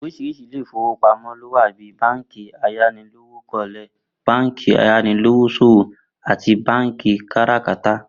Orís̩iris̩i ilé ìfowópamó̩ ló wà bí i báǹkì ayánilówókó̩le, báǹkì ayanilówós̩òwò àti báǹkì káràkátà